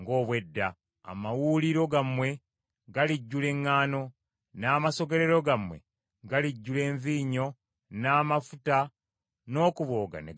Amawuuliro gammwe galijjula eŋŋaano, n’amasogolero gammwe galijjula envinnyo n’amafuta n’okubooga ne gabooga.